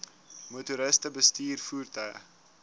motoriste bestuur voertuie